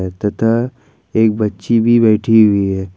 तथा एक बच्ची भी बैठी हुई है।